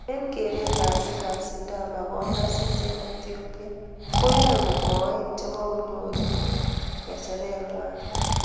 Eng keree ab biik ab Sidama kongasis eng Ethiopia koyae kamoein chebo konyuru ngekecherengwana